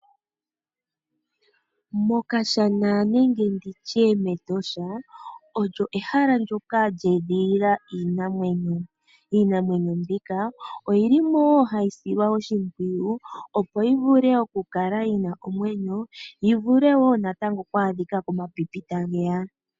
Mokashana nenge ndi tye omo mehala moka mwe edhililwa iinamwenyo. Iinamwenyo mbika oyi li mo wo hayi silwa oshimpwiyu, opo yi vule okukala yi na omwenyo yi vule wo natango oku adhika komapipi tage ya.